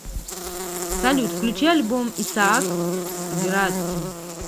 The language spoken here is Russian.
салют включи альбом исаак граци